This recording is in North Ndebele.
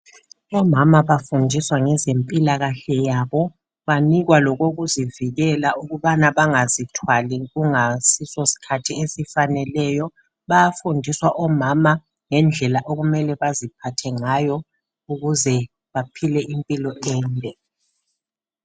Omama bafundiswa ngezempilakahle yabo banikwa lokokuzivikela ukubana bangazithwali kungasiso skhathi esifaneleyo. Bayafundiswa omama ngendlela okumele baziphathe ngayo ukuze baphile impilo ende.